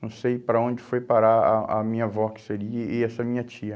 Não sei para onde foi parar a a minha avó, que seria, e essa minha tia.